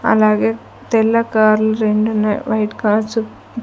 అలాగే తెల్ల కార్లు రెండు ఉన్నాయి వైట్ కార్సు --